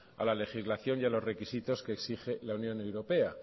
a la legislación y a los requisitos que exige la unión europea